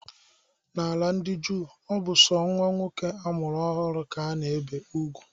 N'ala ndi juu, ọ bụ sọ nwa nwoke amụrụ ọhụrụ ka a na-ebe ugwu